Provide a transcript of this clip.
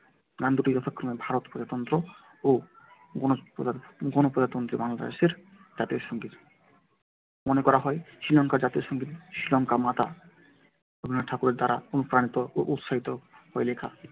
গান দুটি যথাক্রমে ভারত প্রজাতন্ত্র ও গণপ্রজাতন্ত্রী বাংলাদেশের জাতীয় সংগীত। মনে করা হয় শ্রীলঙ্কার জাতীয় সঙ্গীত শ্রীলঙ্কা মাতা রবীন্দ্রনাথ ঠাকুরের দ্বারা অনুপ্রাণিত ও উৎসাহিত হয়ে লেখা